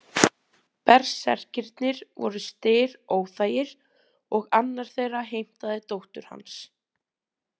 Berserkirnir voru Styr óþægir og annar þeirra heimtaði dóttur hans.